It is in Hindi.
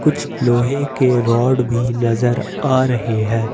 लोहे के रॉड भी नजर आ रहे हैं।